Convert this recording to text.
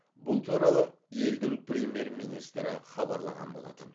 бұл туралы елдің премьер министрі хабарлаған болатын